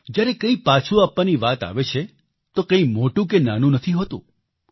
જ્યારે કંઈક પાછું આપવાની વાત આવે છે તો કંઈ મોટું કે નાનું નથી હોતું